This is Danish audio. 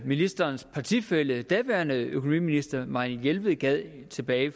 ministerens partifælle daværende økonomiminister marianne jelved gav tilbage i